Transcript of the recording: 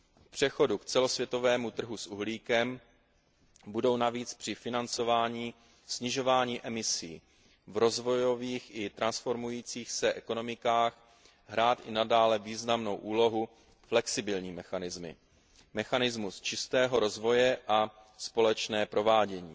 V přechodu k celosvětovému trhu s uhlíkem budou navíc při financování snižování emisí v rozvojových i transformujících se ekonomikách hrát i nadále významnou úlohu flexibilní mechanismy, mechanismus čistého rozvoje a společné provádění.